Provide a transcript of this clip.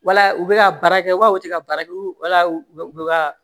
Wala u bɛ ka baara kɛ wa u tɛ ka baara kɛ wala u bɛ u bɛ ka